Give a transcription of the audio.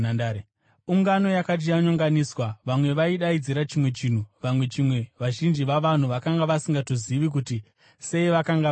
Ungano yakanga yanyonganiswa: vamwe vaidaidzira chimwe chinhu, vamwe chimwe. Vazhinji vavanhu vakanga vasingatongozivi kuti sei vakanga varipo.